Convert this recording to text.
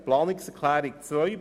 Zu Planungserklärung 2: